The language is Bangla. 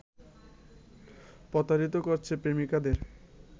প্রতারিত করছে প্রেমিকাদের